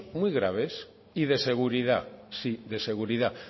muy graves y de seguridad sí de seguridad